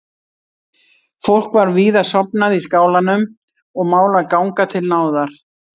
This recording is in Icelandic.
Fólk var víða sofnað í skálanum og mál að ganga til náða.